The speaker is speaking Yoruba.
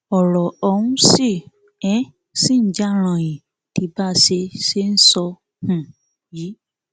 ọrọ ọhún sì um ṣì ń já ranyìn di bá a ṣe ṣe ń sọ um yìí